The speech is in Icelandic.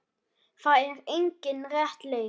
Það er engin rétt leið.